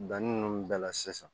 Danni ninnu bɛɛ la sisan